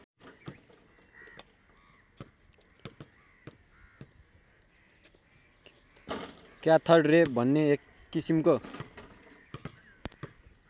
cathode रे भन्ने एक किसिमको